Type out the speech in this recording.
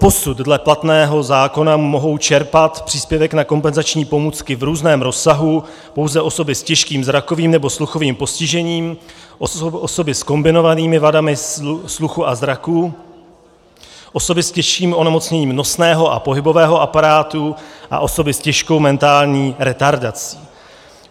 Doposud dle platného zákona mohou čerpat příspěvek na kompenzační pomůcky v různém rozsahu pouze osoby s těžkým zrakovým nebo sluchovým postižením, osoby s kombinovanými vadami sluchu a zraku, osoby s těžším onemocněním nosného a pohybového aparátu a osoby s těžkou mentální retardací.